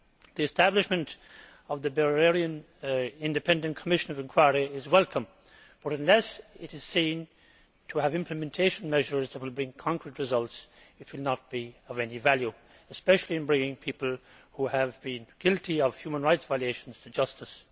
The establishment of the Bahraini Independent Commission of Inquiry is welcome but, unless it is seen to have implementation measures which will bring concrete results, it will not be of any value, especially in bringing people who have been guilty of human rights violations to justice.